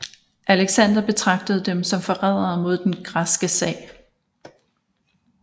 Alexander betragtede dem som forrædere mod den græske sag